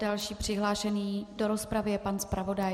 Další přihlášený do rozpravy je pan zpravodaj.